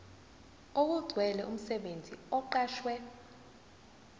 okugcwele umsebenzi oqashwe